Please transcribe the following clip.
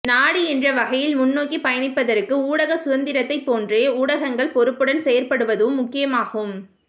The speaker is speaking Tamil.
நாடு என்ற வகையில் முன்னோக்கி பயணிப்பதற்கு ஊடக சுதந்திரத்தைப் போன்றே ஊடகங்கள் பொறுப்புடன் செயற்படுவதும் முக்கியமாகும்